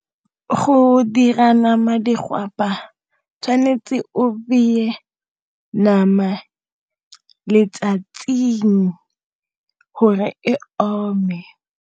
Go dira nama digwapa tshwanetse o beye nama letsatsing gore e ome.